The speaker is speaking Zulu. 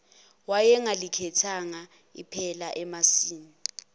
wayengalikhethanga iphela emasini